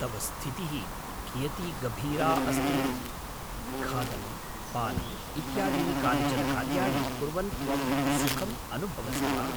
तव स्थितिः कियती गम्भीरा अस्ति? खादनं, पानम् इत्यादीनि कानिचन कार्याणि कुर्वन् त्वं सुखम् अनुभवसि वा?